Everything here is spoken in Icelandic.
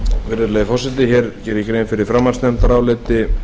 virðulegi forseti ég geri grein fyrir framhaldsnefndaráliti